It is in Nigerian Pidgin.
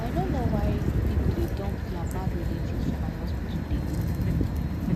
i no know why people dey dump their mad relatives for my hospital dey go